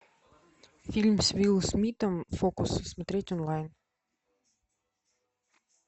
фильм с уилл смитом фокус смотреть онлайн